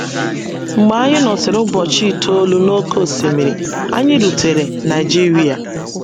Mgbe anyị nọsịrị ụbọchị itoolu n’oké osimiri, anyị rutere Naịjiria